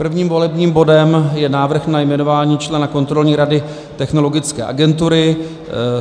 Prvním volebním bodem je návrh na jmenování člena Kontrolní rady Technologické agentury.